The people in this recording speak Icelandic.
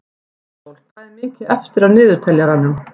Ísól, hvað er mikið eftir af niðurteljaranum?